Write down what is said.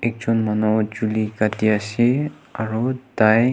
ekjon manu chuli katia ase aur tai--